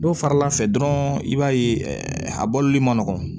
Dɔw faral'a fɛ dɔrɔn i b'a ye a bɔli man nɔgɔn